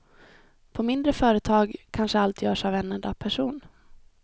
På mindre företag kanske allt görs av en enda person.